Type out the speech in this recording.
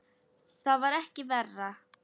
Það var ekki verra.